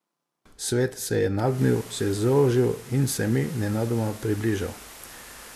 Svet se je nagnil, se zožil in se mi nenadoma približal.